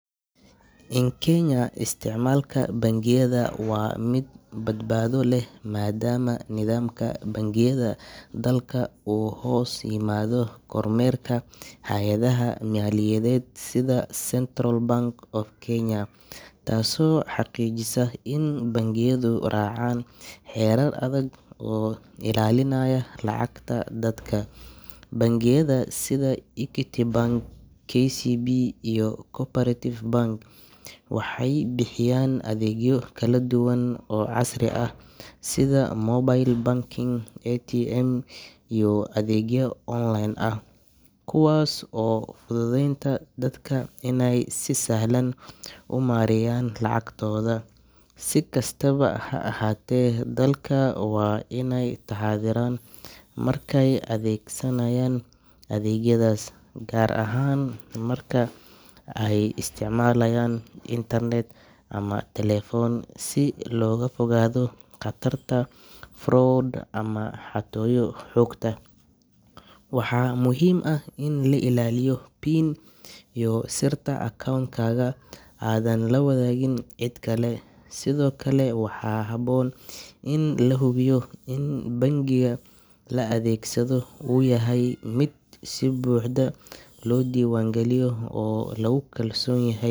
In Kenya, isticmaalka bangiyada waa mid badbaado leh maadaama nidaamka bangiyada dalka uu hoos yimaado kormeerka hay’adaha maaliyadeed sida Central Bank of Kenya, taasoo xaqiijisa in bangiyadu raacaan xeerar adag oo ilaalinaya lacagta dadka. Bangiyada sida Equity Bank, KCB, iyo Co-operative Bank waxay bixiyaan adeegyo kala duwan oo casri ah sida mobile banking, ATM, iyo adeegyo online ah kuwaas oo fududeynaya dadka inay si sahlan u maareeyaan lacagtooda. Si kastaba ha ahaatee, dadka waa inay taxaddaraan markay adeegsanayaan adeegyadaas, gaar ahaan marka ay isticmaalayaan internet ama taleefan si looga fogaado khatarta fraud ama xatooyo xogta. Waxaa muhiim ah in la ilaaliyo PIN iyo sirta account-kaaga, aadan la wadaagin cid kale. Sidoo kale, waxaa habboon in la hubiyo in bangiga la adeegsado uu yahay mid si buuxda loo diiwaangeliyay oo lagu kalsoon yahay.